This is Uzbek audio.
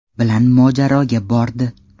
bilan mojaroga bordi.